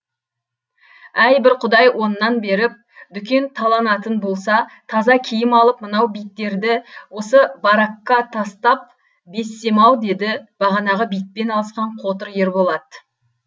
әй бір құдай оннан беріп дүкен таланатын болса таза киім алып мынау биттерді осы баракка тастап безсем ау деді бағанағы битпен алысқан қотыр ерболат